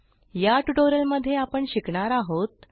या ट्युटोरियलमध्ये आपण शिकणार आहोत